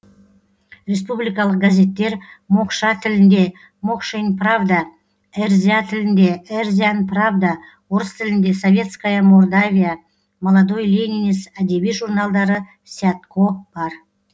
республикалық газеттер мокша тілінде мокшень правда эрзя тілінде эрзянь правда орыс тілінде советская мордавия молодой ленинец әдеби журналдары сятко бар